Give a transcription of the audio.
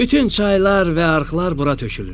Bütün çaylar və arxlar bura tökülür.